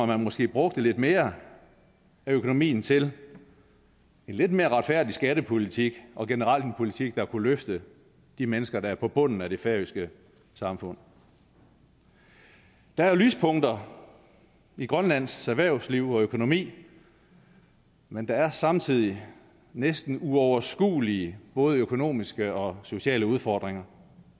man måske brugte lidt mere af økonomien til en lidt mere retfærdig skattepolitik og generelt en politik der kunne løfte de mennesker der er på bunden af det færøske samfund der er lyspunkter i grønlands erhvervsliv og økonomi men der er samtidig næsten uoverskuelige både økonomiske og sociale udfordringer